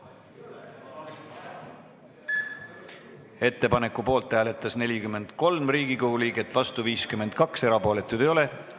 Hääletustulemused Ettepaneku poolt hääletas 43 Riigikogu liiget, vastu oli 52, erapooletuid ei ole.